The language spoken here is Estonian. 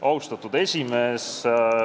Austatud esimees!